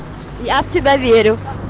я в тебя верю